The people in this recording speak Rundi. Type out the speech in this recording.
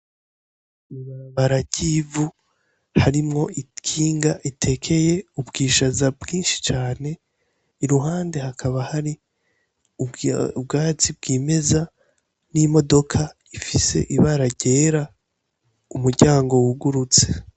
Ibarabara ry' ivu harimwo ikinga ritekeye ubwishaza bwinshi cane iruhande hakaba hari ubwatsi bwimeza n' imodoka ifise ibara ryera umuryango wugurutse.